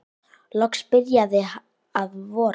Loks byrjaði að vora.